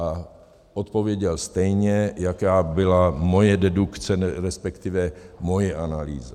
A odpověděl stejně, jaká byla moje dedukce, respektive moje analýza.